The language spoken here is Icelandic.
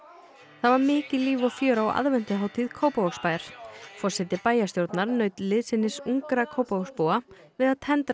það var mikið líf og fjör á Kópavogsbæjar forseti bæjarstjórnar naut liðsinnis ungra Kópavogsbúa við að tendra